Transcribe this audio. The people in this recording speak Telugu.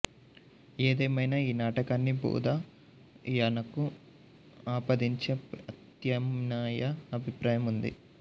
ఏదేమైనా ఈ నాటకాన్ని బోధాయనకు ఆపాదించే ప్రత్యామ్నాయ అభిప్రాయం ఉంది